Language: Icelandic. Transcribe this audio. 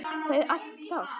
Það er allt klárt.